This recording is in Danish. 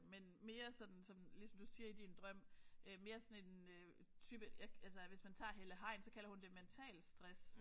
Men mere sådan som ligesom du siger i din drøm mere sådan en øh type jeg altså hvis man tager Helle Hein så kalder hun det mentalt stress